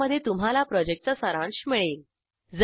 ज्यामध्ये तुम्हाला प्रॉजेक्टचा सारांश मिळेल